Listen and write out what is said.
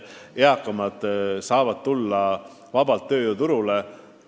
Eakamad saavad ju vabalt tööjõuturule tulla.